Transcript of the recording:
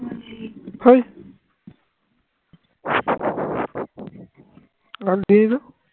গাল দিই না